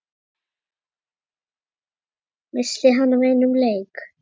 missti hann af einum leik?